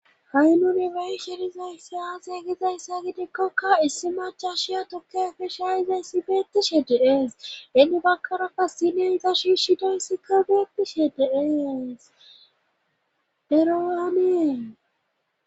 ha7i nuni be7ishe dizayssi aaze gizayssa giikoka issi maccasiya tukke ayfe shayidaysse beetishe de7ees;heni baggara qassi sinoyta shiishshidayssika beettishe de7ees;ero ane.